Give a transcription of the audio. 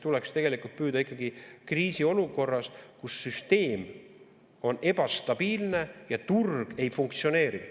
Tuleks püüda ikkagi kriisiolukorras, kus süsteem on ebastabiilne ja turg ei funktsioneeri ...